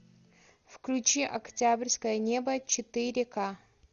включи октябрьское небо четыре ка